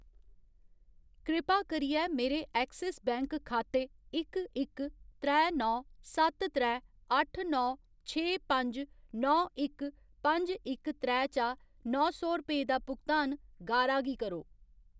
कृपा करियै मेरे ऐक्सिस बैंक खाते इक इक त्रै नौ सत्त त्रै अट्ठ नौ छे पंज नौ इक पंज इक त्रै चा नौ सौ रपेऽ दा भुगतान गारा गी करो।